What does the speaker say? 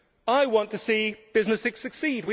I want to see businesses succeed.